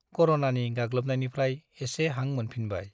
कर'नानि गाग्लोबनायनिफ्राइ एसे हां मोनफिनबाय ।